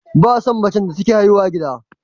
Ba a son mace take haihuwa a gida